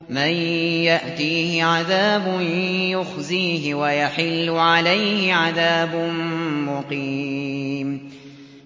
مَن يَأْتِيهِ عَذَابٌ يُخْزِيهِ وَيَحِلُّ عَلَيْهِ عَذَابٌ مُّقِيمٌ